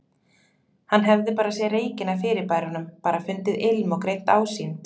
Hann hefði bara séð reykinn af fyrirbærunum, bara fundið ilm og greint ásýnd.